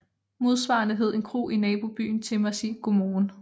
Modsvarende hed en kro i nabobyen Timmersig Godmorgen